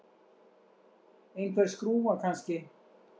Einhver skrúfa, kannski.